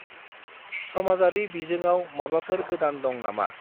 समाजारि बिजोंआव माबाफोर गोदान दं नामा?